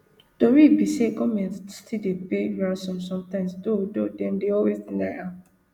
tori be say goment still dey pay ransom sometimes though though dem dey always deny am